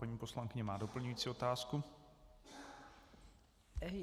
Paní poslankyně má doplňující otázku.